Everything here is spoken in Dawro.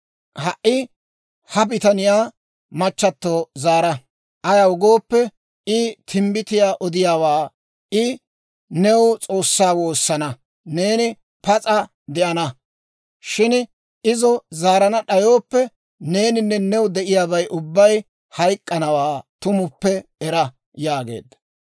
Ha"i ha bitaniyaa machchatto zaara; ayaw gooppe, I Timbbitiyaa odiyaawaa; I new S'oossaa woosana; neeni pas'a de'ana. Shin izo zaarana d'ayooppe, neeninne new de'iyaabay ubbay hayk'k'iyaawaa tumuppe era» yaageedda.